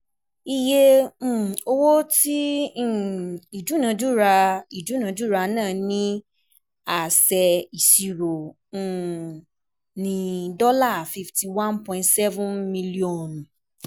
Iye um owo ti um idunadura um idunadura naa ni a ṣe iṣiro um ni fifty one point seven mílíọ́ọ̀nù.